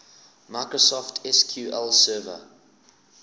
microsoft sql server